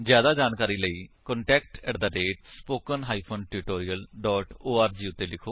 ਜਿਆਦਾ ਜਾਣਕਾਰੀ ਲਈ ਕੰਟੈਕਟ ਸਪੋਕਨ ਟਿਊਟੋਰੀਅਲ ਓਰਗ ਉੱਤੇ ਲਿਖੋ